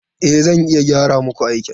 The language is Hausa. E, zan iya gyara muku aikin.